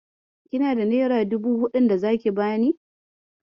Kina da nera dubu huɗun da zaki bani?